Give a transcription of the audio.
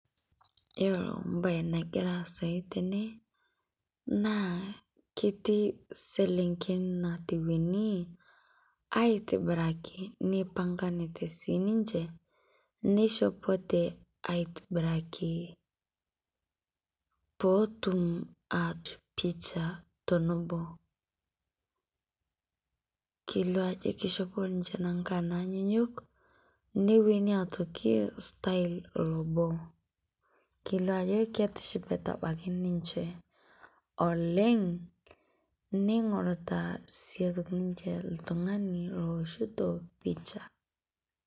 Iyeloo bayi nagira aasai tene naa ketii seleng'en natewuene aitibiraki neipang'anete sii ninchee neishopote aitibiraki poo otuum aoosh picha tonoboo. Keileo ajoo keishopo ninchee nankaan nanyuyuk niwueni aitokii style loboo. Keileo ajoo ketishipaata abaki ninchee oleng neing'orita sii aitokii ninchee ltung'ani loishito picha.